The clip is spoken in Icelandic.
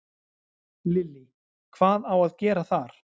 Lillý: Hvað á að gera þar?